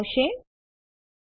એક જ સમયે ઘણી ફાઈલો ને કોપી કરવા માટે